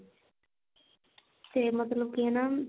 ਤੇ ਮਤਲਬ ਕੀ ਨਾ